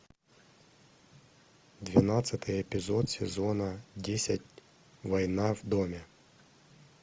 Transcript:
двенадцатый эпизод сезона десять война в доме